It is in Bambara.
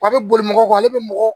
A bɛ boli mɔgɔ kan ale bɛ mɔgɔ